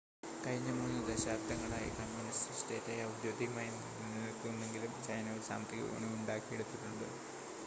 കഴിഞ്ഞ 3 ദശാബ്ദങ്ങളായി കമ്മ്യൂണിസ്റ്റ് സ്റ്റേറ്റായി ഔദ്യോഗികമായി നിലനിൽക്കുന്നുവെങ്കിലും ചൈന ഒരു സാമ്പത്തിക വിപണി ഉണ്ടാക്കിയെടുത്തിട്ടുണ്ട്